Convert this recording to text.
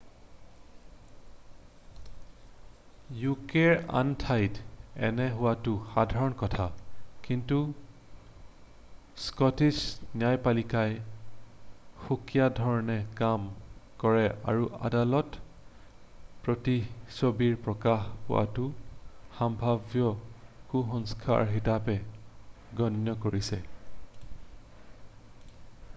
ইউকেৰ আন ঠাইত এনে হোৱাটো সাধাৰণ কথা কিন্তু স্কটিছ ন্যায়পালিকাই সুকীয়াধৰণে কাম কৰে আৰু আদালতে প্ৰতিচ্ছবি প্ৰকাশ পোৱাটো সাম্ভাব্য কুসংস্কাৰ হিচাপে গণ্য কৰিছে